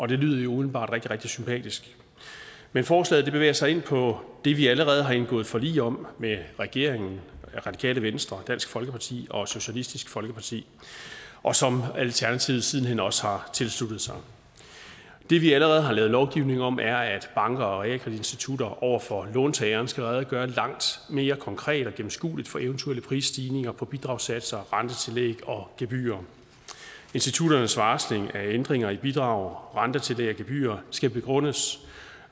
det lyder jo umiddelbart rigtig rigtig sympatisk men forslaget bevæger sig ind på det vi allerede har indgået forlig om med regeringen radikale venstre dansk folkeparti og socialistisk folkeparti og som alternativet siden hen også har tilsluttet sig det vi allerede har lavet lovgivning om er at banker og realkreditinstitutter over for låntageren skal redegøre langt mere konkret og gennemskueligt for eventuelle prisstigninger på bidragssatser rentetillæg og gebyrer institutternes varsling af ændringer i bidrag rentetillæg og gebyrer skal begrundes